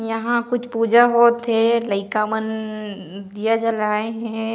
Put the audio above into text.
यहाँ कुछ पुजा होत हे लइका मन उँ दिया जलाए हे।